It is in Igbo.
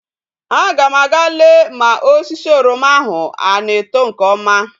A ga m aga lee ma osisi oroma ahu a na eto nke oma